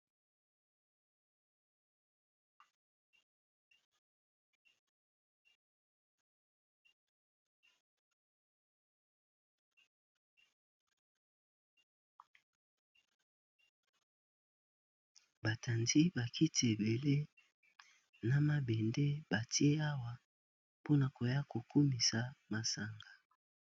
Batandi bakiti ebele na mabende batie awa mpona koya kokumisa masanga.